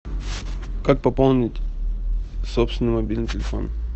как пополнить собственный мобильный телефон